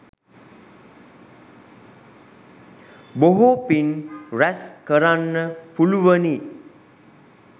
බොහෝ පින් රැස් කරන්න පුළුවනි.